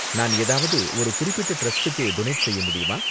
நான் ஏதாவது ஒரு குறிப்பிட்ட டிரஸ்டுக்கு டொனேட் செய்ய முடியுமா?